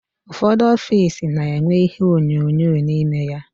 Ụfọdụ ọffici na-enwe ihe onyonyo n'ime ya.